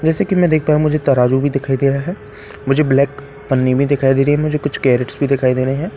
जैसे कि मैं देख पा हूं मुझे तराजू भी दिखाई दे रहा है मुझे ब्लैक पन्नी भी दिखाई दे रही है मुझे कुछ कैरेट्स भी दिखाई दे रहे है।